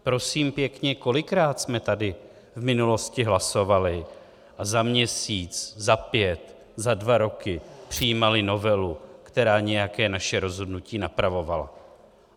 Prosím pěkně, kolikrát jsme tady v minulosti hlasovali a za měsíc, za pět, za dva roky přijímali novelu, která nějaké naše rozhodnutí napravovala?